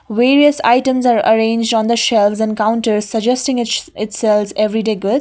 various items are arranged on the shelves and counter suggesting is it sells everyday goods.